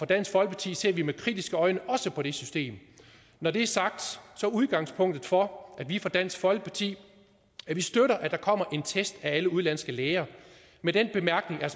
dansk folkeparti ser vi med kritiske øjne også på det system når det er sagt er udgangspunktet for at vi i dansk folkeparti støtter at der kommer en test af alle udenlandske læger med den bemærkning at